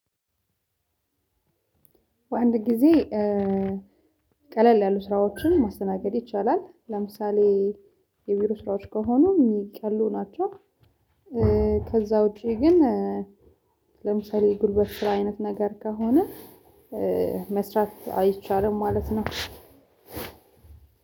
በአንድ ጊዜ ቀለል ያሉ ስራዎችን ማስተናገድ ይቻላል። ለምሳሌ የቢሮ ስራዎች ከሆኑ የሚቀሉ ናቸው። ከዛ ውጪ ግን ለምሳሌ ጉልበት ስራ አይነት ነገር ከሆነ። መስራት አይቻልም ማለት ነው።